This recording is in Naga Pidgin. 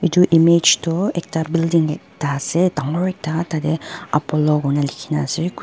etu image toh ekta building dangor ekta tatey apollo kehina ase.